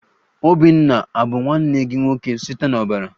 Obinna abu nwanne gị nwoke site n'ọbara?